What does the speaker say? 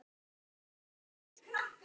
Hann kenndi mér svo margt.